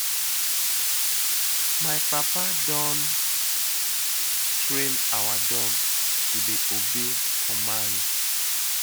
My papa don train our dog to dey obey commands.